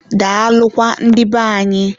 daalụkwa ndị be anyị.